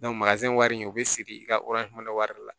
wari in o bɛ siri i ka wari de la